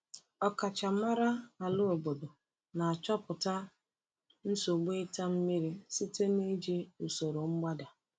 Ọkachamara ala obodo na-achọpụta nsogbu ịta mmiri site n’iji usoro mgbada.